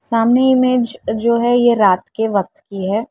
सामने इमेज जो है ये रात के वक्त की है।